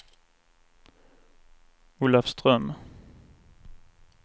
Olafström